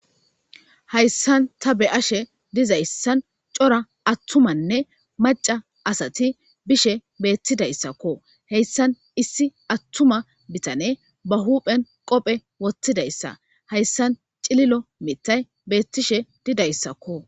Haysan ta be'ashe dizayssan cora attumanne macca asati dishe beettidayssako heysan issi attuma bitane ba huuphen qophe wottidayssa hayssan cililo miththay beettishe didayssako